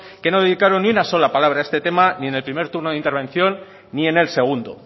que no dedicaron ni una sola palabra a este tema ni en el primer turno de intervención ni en el segundo